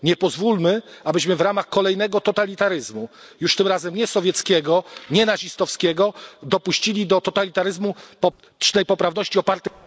Nie pozwólmy, abyśmy w ramach kolejnego totalitaryzmu, już tym razem nie sowieckiego, nie nazistowskiego, dopuścili do totalitaryzmu politycznej poprawności opartej...